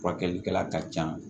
Furakɛlikɛla ka can